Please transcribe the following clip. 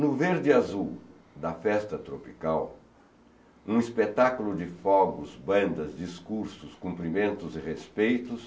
No verde e azul da festa tropical, um espetáculo de fogos, bandas, discursos, cumprimentos e respeitos,